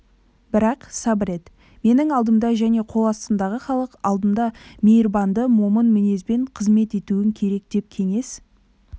бірақ сабыр ет менің алдымда және қол астымдағы халық алдында мейірбанды момын мінезбен қызмет етуің керек деп кеңес